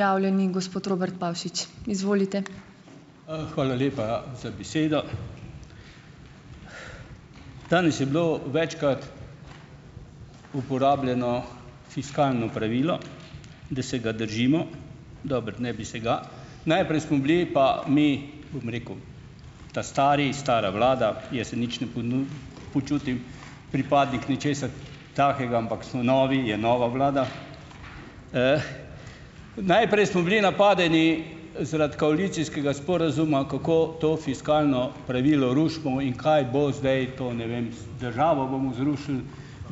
Hvala lepa za besedo. Danes je bilo večkrat uporabljeno fiskalno pravilo, da se ga držimo. Dobro, naj bi se ga. Najprej smo bili pa mi, bom rekel, ta stari, stara vlada, jaz se nič ne počutim pripadnik ničesar takega, ampak smo novi, je nova vlada. Najprej smo bili napadeni zaradi koalicijskega sporazuma, kako to fiskalno pravilo rušimo in kaj bo zdaj to, ne vem, državo bomo zrušili,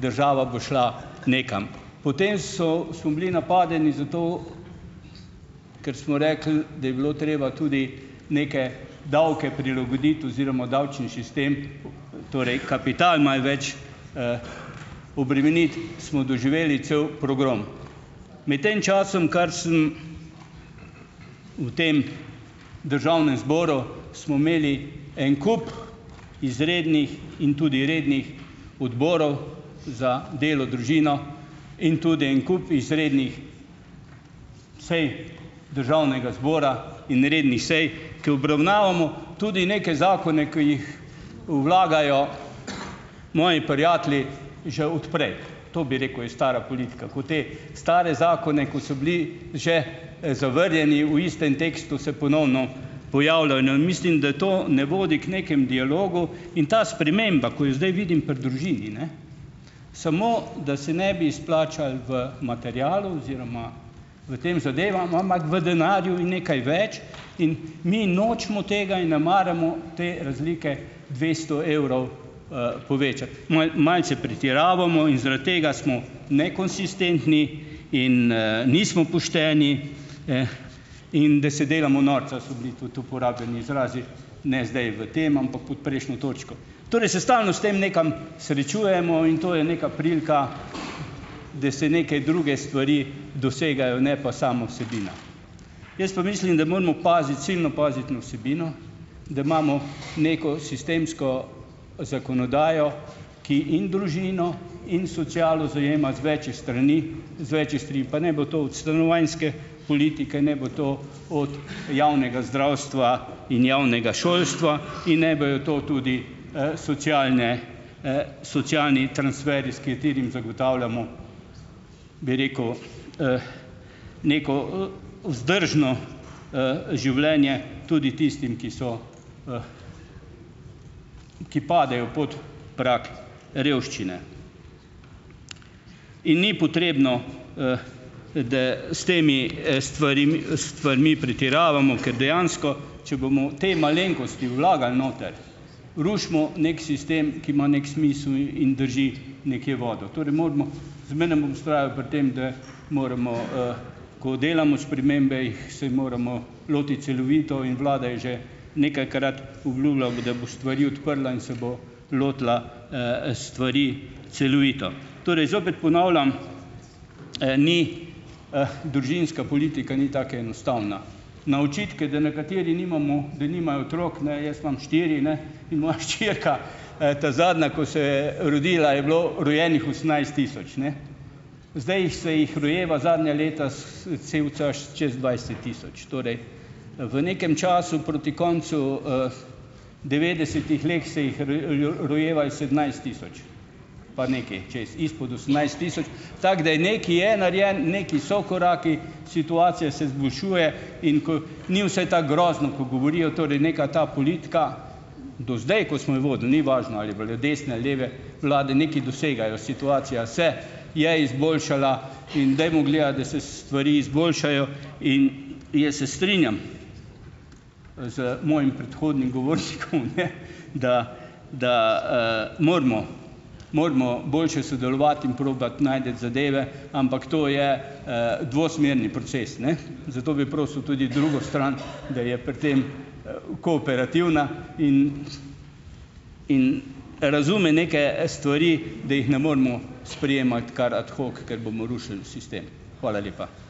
država bo šla nekam. Potem so smo bili napadeni zato, ker smo rekli, da bilo treba tudi neke davke prilagoditi oziroma davčni sistem, torej kapital malo več obremeniti, smo doživeli cel pogrom. Med tem časom, kar sem v tem državnem zboru, smo imeli en kup izrednih in tudi rednih odborov za delo, družino in tudi en kup izrednih sej državnega zbora in rednih sej, ke obravnavamo tudi neke zakone, ki jih vlagajo moji prijatelji že od prej. To bi rekel, je stara politika, ko te stare zakone, ko so bili že, zavrnjeni, v istem tekstu se ponovno pojavljajo, ne. In mislim, da to ne vodi k nekemu dialogu in ta sprememba, ko jo zdaj vidim pri družini, ne, samo da se ne bi izplačali v materialu oziroma v teh zadevah, ampak v denarju in nekaj več, in mi nočemo tega in ne maramo te razlike dvesto evrov, povečati. Malo, malce pretiravamo in zaradi tega smo nekonsistentni in, nismo pošteni, ne, in da se delamo norca, so bili tudi uporabljeni izrazi, ne zdaj v tem, ampak pod prejšnjo točko. Torej, se stalno s tem nekam srečujemo in to je neka prilika, da se neke druge stvari dosegajo, ne pa sama vsebina. Jaz pa mislim, da moramo paziti, silno paziti na vsebino, da imamo neko sistemsko zakonodajo, ki in družino in socialo zajema z večih strani, z večih strani pa naj bo to od stanovanjske politike, naj bo to od javnega zdravstva in javnega šolstva in naj bojo to tudi, socialne, socialni transferji, s katerimi zagotavljamo, bi rekel, neko, vzdržno, življenje tudi tistim, ki so, ki padejo pod prag revščine. In ni potrebno, da s temi, stvarmi pretiravamo, ker dejansko, če bomo te malenkosti vlagali noter, rušimo neki sistem, ki ima neki smisel in drži nekje vodo. Torej moramo zmeraj vztrajati pri tem, da moramo, ko delamo spremembe, jih se moramo lotiti celovito in vlada je že nekajkrat obljubila, bo da bo stvari odprla in se bo lotila, stvari celovito. Torej zopet ponavljam, ni, družinska politika ni tako enostavna. Na očitke, da nekateri nimamo, da nimajo otrok, ne, jaz imam štiri, ne, in moja hčerka, ta zadnja, ko se je rodila, je bilo rojenih osemnajst tisoč, ne. Zdaj se jih rojeva zadnja leta, cel čas čez dvajset tisoč. Torej v nekem času proti koncu, devetdesetih lahko se jih rojevalo sedemnajst tisoč pa nekaj čez, izpod osemnajst tisoč, tako da je nekaj je narejeno, nekaj so koraki, situacija se izboljšuje, in ko ni vse tako grozno, ko govorijo, torej neka ta politika, do zdaj, ko smo jo vodili, ni važno ali je bolj od desne ali leve, vlade nekaj dosegajo, situacija se je izboljšala in dajmo gledati, da se stvari izboljšajo, in jaz se strinjam, z mojim predhodnim govornikom, ne, da da, moramo moramo boljše sodelovati in probati najti zadeve, ampak to je, dvosmerni proces, ne. Zato bi prosili tudi drugo stran, da je pri tem, kooperativna in in razume neke, stvari, da jih ne moremo sprejemati kar "ad hoc", ker bomo rušili sistem. Hvala lepa.